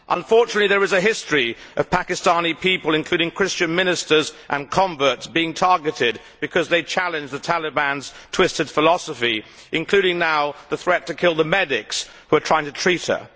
Unfortunately, there is a history of Pakistani people, including Christian ministers and converts, being targeted because they challenge the Taliban's twisted philosophy, including now the threat to kill the medics who are trying to treat her.